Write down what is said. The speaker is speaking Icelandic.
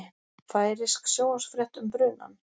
Færeysk sjónvarpsfrétt um brunann